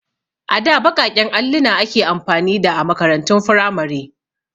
A da baƙaƙen alluna ake amfani da a makarantun firamare.